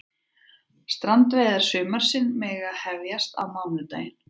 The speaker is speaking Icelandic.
Strandveiðar sumarsins mega hefjast á mánudaginn